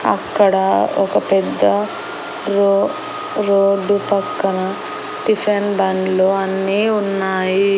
అక్కడ ఒక పెద్ద రో రోడ్డు పక్కన టిఫిన్ బండ్లు అన్నీ ఉన్నాయి.